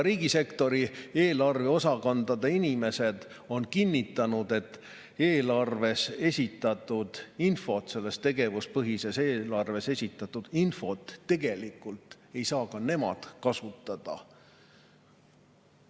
Riigisektori eelarveosakondade inimesed on kinnitanud, et eelarves esitatud infot, selles tegevuspõhises eelarves esitatud infot tegelikult ei saa ka nemad kasutada.